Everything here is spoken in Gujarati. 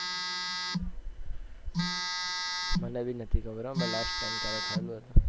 મને પણ નથી ખબર મેં last time ક્યારે ખાધું હતું